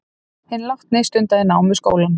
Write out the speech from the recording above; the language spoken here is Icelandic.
Hinn látni stundaði nám við skólann